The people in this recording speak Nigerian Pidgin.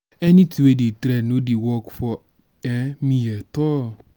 anything wey dey trend no dey work for um me at all